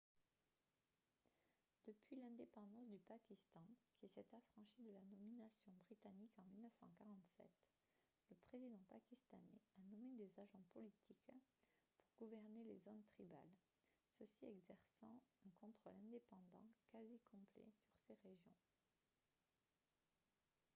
depuis l'indépendance du pakistan qui s'est affranchi de la domination britannique en 1947 le président pakistanais a nommé des « agents politiques » pour gouverner les zones tribales ceux-ci exerçant un contrôle indépendant quasi complet sur ces régions